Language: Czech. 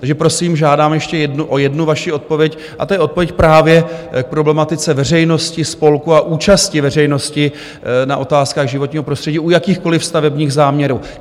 Takže, prosím, žádám ještě o jednu vaši odpověď, a to je odpověď právě k problematice veřejnosti, spolků a účasti veřejnosti na otázkách životního prostředí u jakýchkoliv stavebních záměrů.